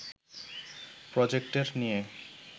projector নিয়ে